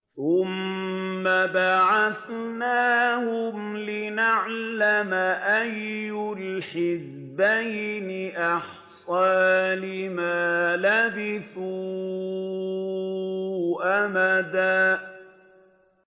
ثُمَّ بَعَثْنَاهُمْ لِنَعْلَمَ أَيُّ الْحِزْبَيْنِ أَحْصَىٰ لِمَا لَبِثُوا أَمَدًا